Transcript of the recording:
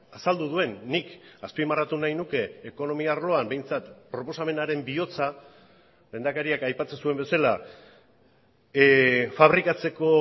azaldu duen nik azpimarratu nahi nuke ekonomia arloan behintzat proposamenaren bihotza lehendakariak aipatzen zuen bezala fabrikatzeko